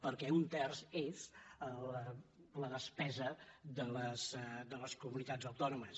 perquè un terç és la despesa de les comunitats autònomes